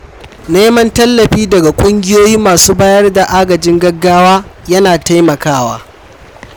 Neman tallafi daga ƙungiyoyi masu bayar da agajin gaggawa ya na taimakawa.